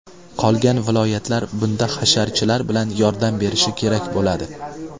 Qolgan viloyatlar bunda hasharchilar bilan yordam berishi kerak bo‘ladi.